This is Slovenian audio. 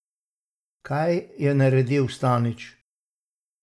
Kaj je naredil Stanič?